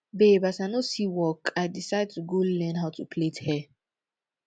babe as i no see work i decide to go learn how to plait hair